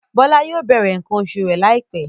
Bọ́lá yóò bẹ̀rẹ̀ nǹkan oṣù rẹ̀ láìpẹ́.